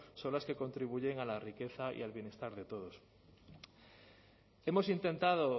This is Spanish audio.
son las que contribuyen a la riqueza y al bienestar de todos hemos intentado